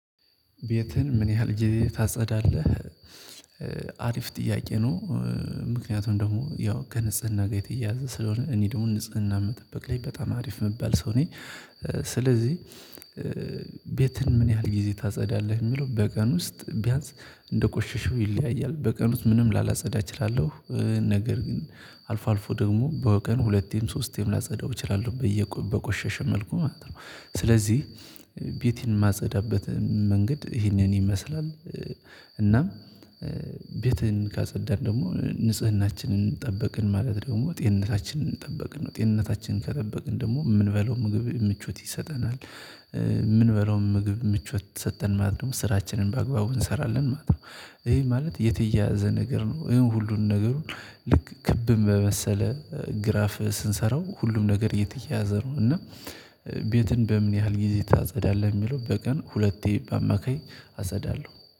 ቤትህን ምን ያህል ጊዜ ታጸዳለህ? አሪፍ ጥያቄ ነው ምክንያቱም ደግሞ ያው ከንጽህና ጋር የተያያዘ ስለሆነ እኔ ደግሞ ንጽህና መጠበቅ ላይ በጣም አሪፍ የምባል ሰው ነኝ። ስለዚህ ቤትን ምን ያህል ጊዜ ታጸዳለህ የሚለው በቀን ውስጥ ቢያንስ እንደቆሸሸው ይለያያል በቀን በቀን ውስጥ ምንም ላላጸዳ እችላለሁ ነገር ግን አልፎ አልፎ ደግሞ በቀን ሁለቴም ሶስቴም ላጸዳው እችላለሁ በቆሸሸ መልኩ ማለት ነው። ስለዚህ ቤት የማጸዳበት መንገድ ይህንን ይመስላል። እናም ቤትን ካጸዳን ደግሞ ንጽህናችንን ጠበቅን ማለት ደግሞ ጤንነታችንን ጠበቅን ነው። ጤንነታችንን ከጠበቅን ደግሞ የምንበለው ምግብ ምቾት ይሰጠናል። ምን በላውም ምግብ ምቾት ሰጠን ማለት ደግሞ ስራችንን በአግባቡ እንሰራለን ማለት ነው። ይሄ ማለት የተያያዘ ነገር ነው ይሄን ሁሉንም ነገሩን ልክ ክብ በመሰለ ግራፍ ስንሰራው ሁሉም ነገር የተያዘ ነው። እና ቤትን በምን ያህል ጊዜ ታጸዳለህ የሚለው በቀን ሁለቴ በአማካይ አጸዳለሁ